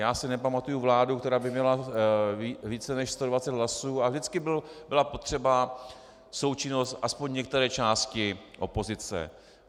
Já si nepamatuji vládu, která by měla více než 120 hlasů, a vždycky byla potřebná součinnost aspoň některé části opozice.